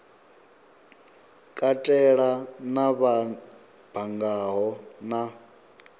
katela na vha banngaho na